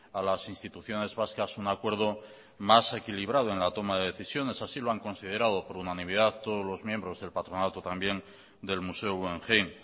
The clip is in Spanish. a las instituciones vascas un acuerdo más equilibrado en la toma de decisiones así lo han considerado por unanimidad todos los miembros del patronato también del museo guggenheim